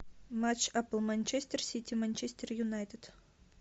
матч апл манчестер сити манчестер юнайтед